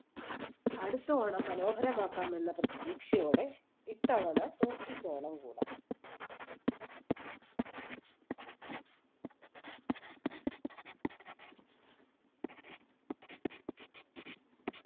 അടുത്ത ഓണം മനോഹരമാക്കാം എന്ന പ്രതീക്ഷയോടെ ഇത്തവണ സൂക്ഷിച്ചു ഓണം കൂടാം